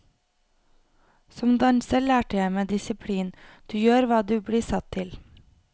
Som danser lærte jeg meg disiplin, du gjør hva du blir satt til.